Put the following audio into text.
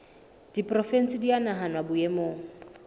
diporofensi di a nahanwa boemong